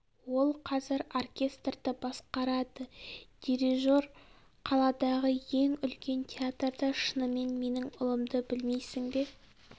ол қазір оркестрді басқарады дирижер қаладағы ең үлкен театрда шынымен менің ұлымды білмейсің бе